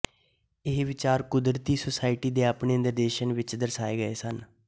ਇਹ ਵਿਚਾਰ ਕੁਦਰਤੀ ਸੋਸਾਇਟੀ ਦੇ ਆਪਣੇ ਨਿਰਦੇਸ਼ਨ ਵਿੱਚ ਦਰਸਾਏ ਗਏ ਸਨ